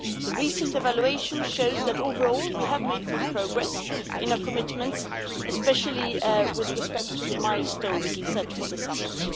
The recent evaluation shows that, overall, we have made good progress on our commitments, especially with respect to the milestones set for the summit.